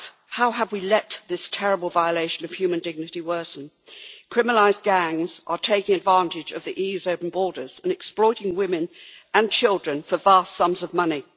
How have we let this terrible violation of human dignity worsen? Criminalised gangs are taking advantage of the EU's open borders and exploiting women and children for vast sums of money.